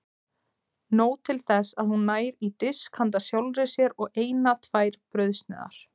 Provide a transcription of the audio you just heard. Nóg til þess að hún nær í disk handa sjálfri sér og eina tvær brauðsneiðar.